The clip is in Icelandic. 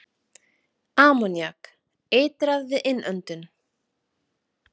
Ammoníak- Eitrað við innöndun.